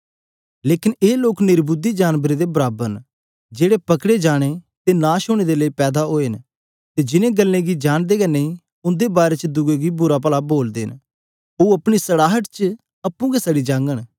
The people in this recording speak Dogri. लेकन ए लोक निर्बुद्धि जानबरओं हे दे तुल्य न जेड़े पकड़े जाने अते नाश होने दे लेई पैदा होए न अते जिन गल्ले गी जांदे हे नेईं उन्दे बारै च दुए गी बुरा पला बोलदे न ओह अपनी सड़ाहट च आपे हे सड़ जाग